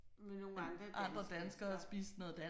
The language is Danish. Med nogle andre dansk danskere